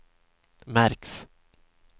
märks